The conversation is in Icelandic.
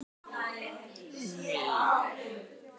Hann hét því að berjast áfram